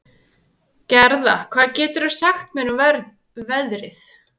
Gerða, hvað geturðu sagt mér um veðrið?